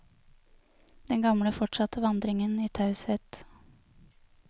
Den gamle fortsatte vandringen i taushet.